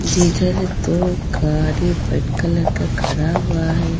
जिधर दो गाड़ी वेट कलर का खड़ा हुआ है.